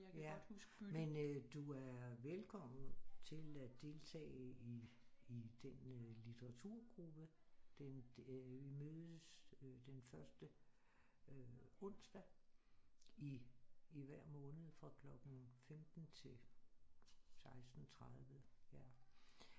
Ja men øh du er velkommen til at deltage i den øh litteraturgruppe den øh vi mødes den første øh onsdag i hver måned fra klokken 15 til 16 30 ja